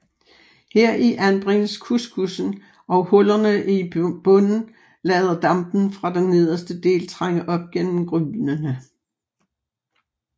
Heri anbringes couscoussen og hullerne i bunden lader dampen fra den nederste del trænge op gennem grynene